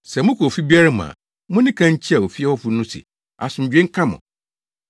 “Sɛ mokɔ ofi biara mu a, munni kan nkyia ofie hɔfo no se, ‘Asomdwoe nka mo!’